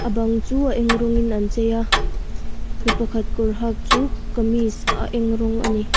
bang chu a eng rawngin an chei a mipa khat kawr hak chu kamis a eng rawng ani.